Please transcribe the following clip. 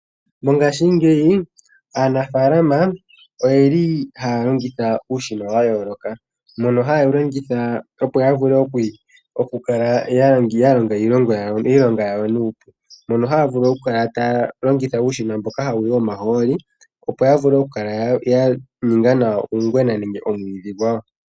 Mongaashingeyi aanafaalama oyeli haya longitha uushina wa yooloka mono hayewu longitha opo yavule okukala ya longa iilonga yawo nuupu mono haya vulu okukala taya longitha uushina mboka hawuyi omahooli opo yavule okukala ya ninga nawa uungwena nenge omwiidhi gwawo.